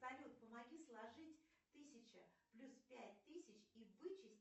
салют помоги сложить тысяча плюс пять тысяч и вычесть